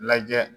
Lajɛ